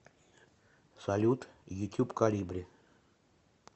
салют ютюб колибри